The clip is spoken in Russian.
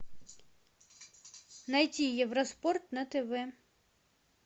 найти евроспорт на тв